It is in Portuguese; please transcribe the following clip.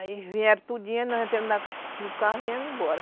Aí vieram tudinho e nós entramos no carro e viemos embora.